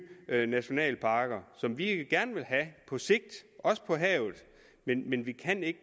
nationalparker som vi gerne vil have på sigt også på havet men men vi kan ikke